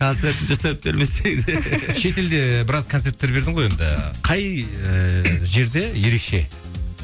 шет елде біраз концерттер бердің ғой енді қай ыыы жерде ерекше